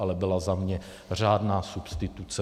Ale byla za mě řádná substituce.